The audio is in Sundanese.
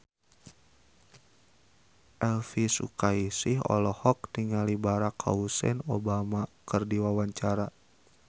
Elvi Sukaesih olohok ningali Barack Hussein Obama keur diwawancara